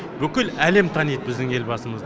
бүкіл әлем таниды біздің елбасымызды